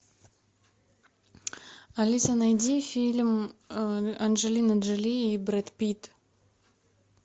алиса найди фильм анджелина джоли и брэд питт